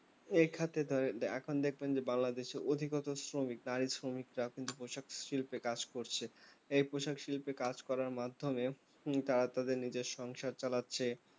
এই খাত এ ধরেন এখন দেখবেন যে বাংলাদেশের অধিগত শ্রমিক তাই শ্রমিকরা কিন্তু পোশাক শিল্পে কাজ করছে এই পোশাক শিল্পে কাজ করার মাধ্যমে তারা তাদের নিজের সংসার চালাচ্ছে